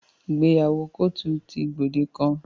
Ìgbéyàwó kóòtù ti gbòde kan.